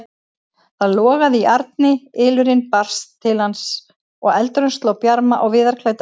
Það logaði í arni, ylurinn barst til hans og eldurinn sló bjarma á viðarklædda veggina.